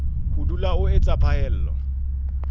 ho dula o etsa phaello